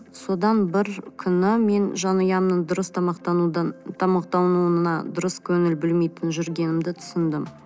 содан бір күні мен жанұямның дұрыс тамақтануына дұрыс көңіл бөлмей жүргенімді түсіндім